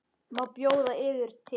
Má bjóða yður te?